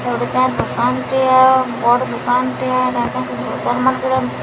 ଏଟା ଗୁଟେ କା ଦୁକାନଟିଅ ବଡ୍ ଦୁକାନଟିଏ ଦୋକାନ ମାନଙ୍କରେ --